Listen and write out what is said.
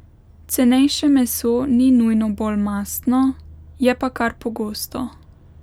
Cenejše meso ni nujno bolj mastno, je pa kar pogosto.